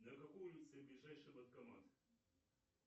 на какой улице ближайший банкомат